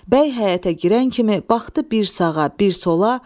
Bəy həyətə girən kimi baxdı bir sağa, bir sola.